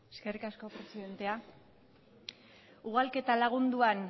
eskerrik asko presidente ugalketa lagunduan